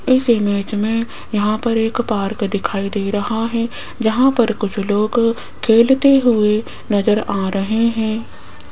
इस इमेज में यहां पर एक पार्क दिखाई दे रहा है जहां पर कुछ लोग खेलते हुए नजर आ रहे हैं।